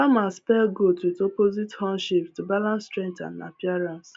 farmers pair goats with opposite horn shapes to balance strength and appearance